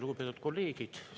Lugupeetud kolleegid!